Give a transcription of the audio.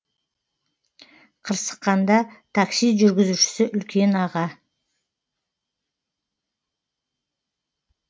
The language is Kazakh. қырсыққанда такси жүргізушісі үлкен аға